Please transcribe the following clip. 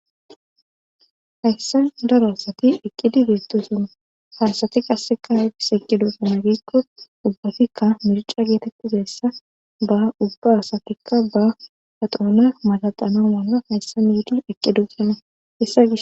hayssa daro asati eqqidi beettosuna harsati qasseka hadis eqqido sana giikko ubbatikka mirca geetettizessa ba ubba asatikka ba haxoona malaqana mala hayssa miidi eqqidosana hessa gis